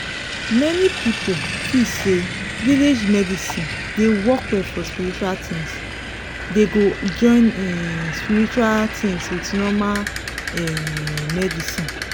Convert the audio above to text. many people feel say village medicine de work well for spiritual things dey go join um spiritual things with normal um medicine